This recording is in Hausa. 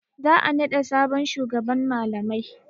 Za a naɗa sabon shugaban malamai.